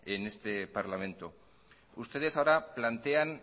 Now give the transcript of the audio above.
en este parlamento ustedes ahora plantean